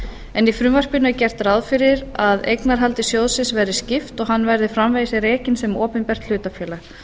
en í frumvarpinu er gert ráð fyrir að eignarhaldi sjóðsins verði skipt og að hann verði framvegis rekinn sem opinbert hlutafélag